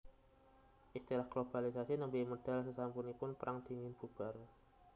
Istilah globalisasi némbè médal sésampunipun Pérang Dingin bubar